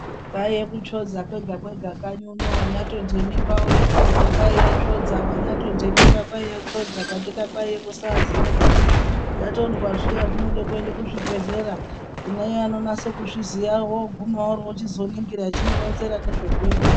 Kwaiye kutsvoodza kwega kwega kanyi unou wonyatonde mimba wode kuzozwa kwaiyasvodza wanyatonde mimba kwaiyatsvoodza katika kwaiye kusaziya kuti ytondwa zviya zvinoda kuenda kuzvibhedhlera kune Aya anonyase kuzviziya woguma worochizoningira echimuronzera nezvekuita.